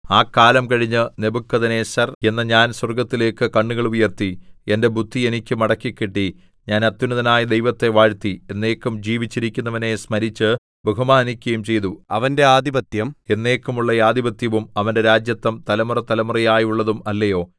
ആ കാലം കഴിഞ്ഞ് നെബൂഖദ്നേസർ എന്ന ഞാൻ സ്വർഗ്ഗത്തിലേക്ക് കണ്ണുകൾ ഉയർത്തി എന്റെ ബുദ്ധി എനിക്ക് മടക്കിക്കിട്ടി ഞാൻ അത്യുന്നതനായ ദൈവത്തെ വാഴ്ത്തി എന്നേക്കും ജീവിച്ചിരിക്കുന്നവനെ സ്മരിച്ച് ബഹുമാനിക്കുകയും ചെയ്തു അവന്റെ ആധിപത്യം എന്നേക്കുമുള്ള ആധിപത്യവും അവന്റെ രാജത്വം തലമുറതലമുറയായുള്ളതും അല്ലയോ